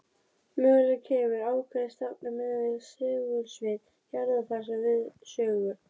Mögulega kemur ákveðin stefna miðað við segulsvið jarðar þar við sögu.